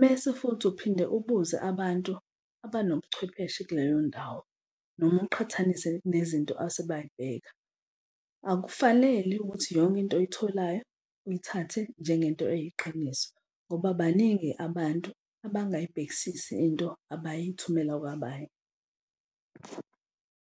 mese futhi uphinde ubuze abantu abanobucwepheshe kuleyo ndawo noma uqhathanise nezinto asebayibheka, akufanele ukuthi yonke into oyitholayo uyithathe njengento eyiqiniso ngoba baningi abantu abangayibhekisisi into abayithumela kwabanye.